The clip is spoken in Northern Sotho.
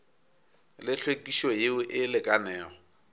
le hlwekišo yeo e lekanego